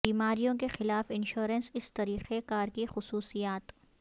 بیماریوں کے خلاف انشورنس اس طریقہ کار کی خصوصیات